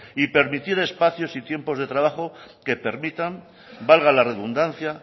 y permitir espacios de tiempo de trabajo que permitan valga la redundancia